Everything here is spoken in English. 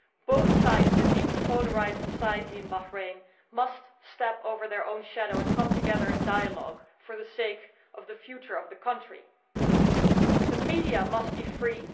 Both sides in a deeply polarised society in Bahrain must step over their own shadow and come together in dialogue for the sake of the future of the country. The media must be free.